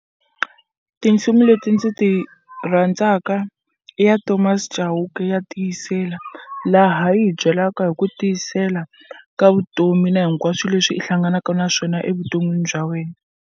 Tinsimu leti ndzi ti rhandzaka i ya Thomas Chauke ya tiyisela laha yi hi byelaka hi ku tiyisela ka vutomi na hinkwaswo leswi i hlanganaka na swona evuton'wini bya wena.